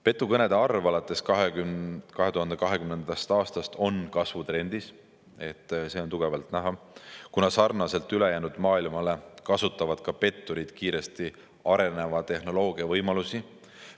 " Petukõnede arv alates 2020. aastast on kasvutrendis, see on näha, kuna sarnaselt ülejäänud maailmaga kasutavad petturid kiiresti areneva tehnoloogia võimalusi.